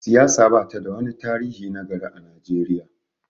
siyasa ba ta da wani tarihi na gari a Najeriya